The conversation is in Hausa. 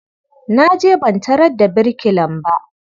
Na je ban tarar da birkilan ba.